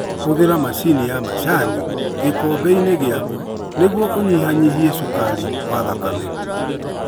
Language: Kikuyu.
Hũthĩra macini ya macani gĩkombe-inĩ gĩaku nĩguo ũnyihanyihie cukari wa thakame.